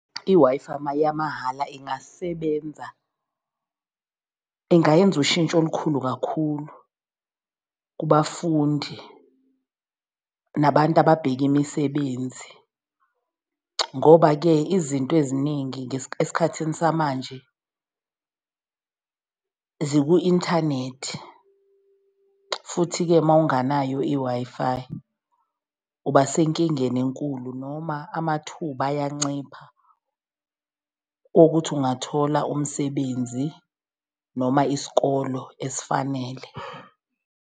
I-Wi-Fi yamahhala ingasebenza ingayenza ushintsho olukhulu kakhulu kubafundi nabantu ababheka imisebenzi, ngoba-ke izinto eziningi esikhathini samanje ziku-inthanethi, futhi-ke mawunganayo i-Wi-Fi uba senkingeni enkulu. Noma amathuba ayancipha wokuthi ungathola umsebenzi noma isikolo esifanele.